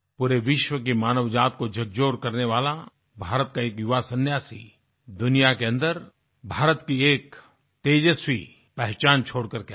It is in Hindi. पूरे विश्व की मानव जाति को झकझोर करने वाला भारत का ये युवा सन्यासी दुनिया के अन्दर भारत की एक तेजस्वी पहचान छोड़ करके आ गया